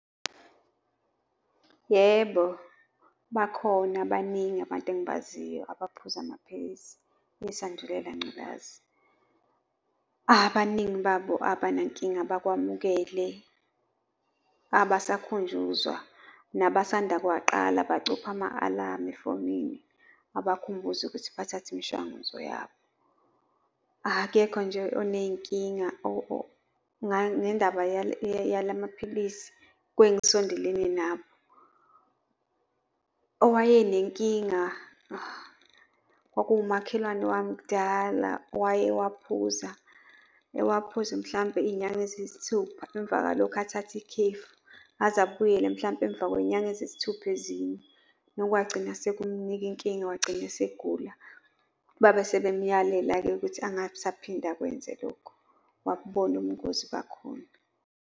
Yebo, bakhona baningi abantu engibaziyo abaphuza amaphilisi esandulela ngculazi. Abaningi babo abanankinga, bakwamukele, abasakhunjuzwa. Nabasanda kuwaqala bacupha ama-alamu efonini abakhumbuze ukuthi bathathe imishwanguzo yabo. Akekho nje onezinkinga ngendaba yala maphilisi kwengisondelene nabo. Owayenenkinga kwakungumakhelwane wami kudala, owayewaphuza, ewaphuza mhlampe iy'nyanga eziyisithupha, emva kwalokho athathe ikhefu aze abuyele mhlampe emva kwey'nyanga eziyisithupha ezinye. Nokwagcina sekumnika inkinga, wagcina esegula. Babe sebemyalela-ke ukuthi angabe esaphinda akwenze lokho, wakubona ubungozi bakhona.